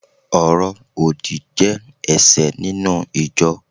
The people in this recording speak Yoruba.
oro odi je ẹṣẹ ninu ijọ